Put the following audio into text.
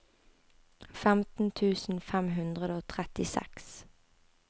femten tusen fem hundre og trettiseks